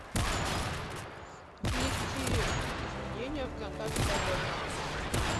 внести изменения в контакт коллега